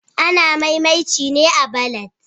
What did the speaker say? Ana mai'mainci ne a'ballads.